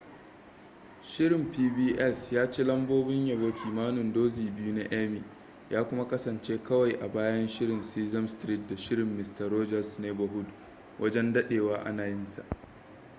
shirin pbs ya ci lambobin yabo kimanin dozin biyu na emmy ya kuma kasance kawai a bayan shirin sesame street da shirin mister rogers neighborhood wajen dadewa ana yinsa